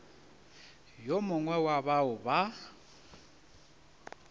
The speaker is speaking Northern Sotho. yo mongwe wa bao ba